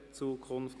«Zukunft